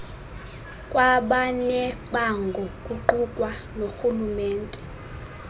kwabanebango kuqukwa norhulumente